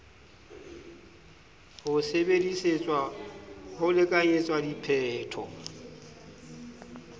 ho sebedisetswa ho lekanyetsa diphetho